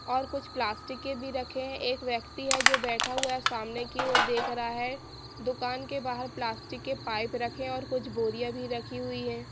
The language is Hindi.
और कुछ प्लास्टिक के भी रखें है एक व्यक्ति है जो बैठा हुआ है सामने की ओर देख रहा है दुकान के बाहर प्लास्टिक के पाइप रखे और कुछ बोरियां भी रखी हुई है।